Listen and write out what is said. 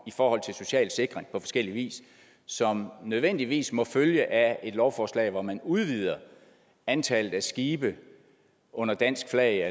i forhold til social sikring på forskellig vis som nødvendigvis må følge af et lovforslag hvor man udvider antallet af skibe under dansk flag